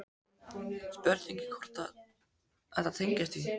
Spurning hvort að þetta tengist því?